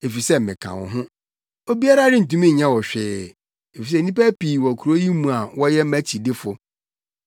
efisɛ meka wo ho. Obiara rentumi nyɛ wo hwee, efisɛ nnipa pii wɔ kurow yi mu a wɔyɛ mʼakyidifo.”